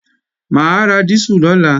Mà á ra dísù lọ́la